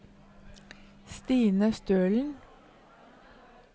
Stine Stølen